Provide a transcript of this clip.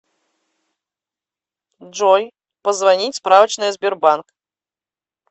джой позвонить справочная сбербанк